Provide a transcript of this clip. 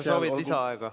Kas sa soovid lisaaega?